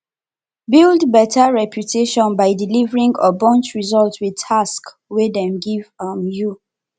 build better reputation by delivering ogbonge result with task wey dem give um you